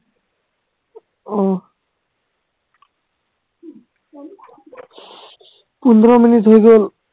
আহ পোন্ধৰ মিনিট হৈ গল